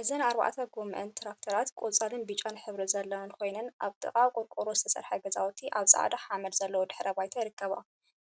እዘን አርባዕተ ጎመአን ትራክተራት ቆፃልን ብጫን ሕብሪ ዘለወን ኮይነን፤ አብ ጥቃ ብቆርቆሮ ዝተሰርሐ ገዛውቲ አብ ፃዕዳ ሓመድ ዘለዎ ድሕረ ባይታ ይርከባ፡፡